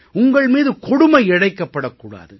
உங்கள் மீது கொடுமை இழைக்கப்படக் கூடாது